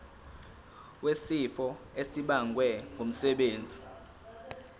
wesifo esibagwe ngumsebenzi